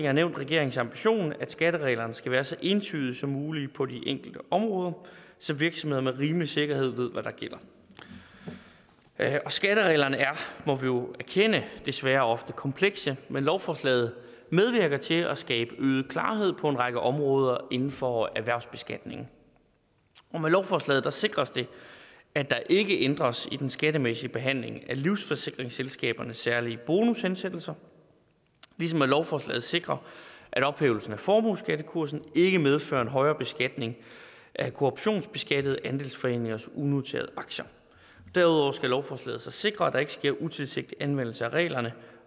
har nævnt regeringens ambition at skattereglerne skal være så entydige som muligt på de enkelte områder så virksomhederne med rimelig sikkerhed ved hvad der gælder skattereglerne er må vi jo erkende desværre ofte komplekse men lovforslaget medvirker til at skabe øget klarhed på en række områder inden for erhvervsbeskatning og med lovforslaget sikres det at der ikke ændres i den skattemæssige behandling af livsforsikringsselskabernes særlige bonushensættelser ligesom lovforslaget sikrer at ophævelsen af formueskattekursen ikke medfører en højere beskatning af kooperationsbeskattede andelsforeningers unoterede aktier derudover skal lovforslaget sikre at der ikke sker en utilsigtet anvendelse af reglerne